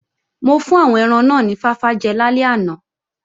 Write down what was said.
Mo fún àwọn ẹran náà ni fáfá jẹ lálẹ́ àná